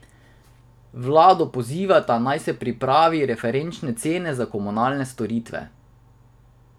Vlado pozivata, naj prej pripravi referenčne cene za komunalne storitve.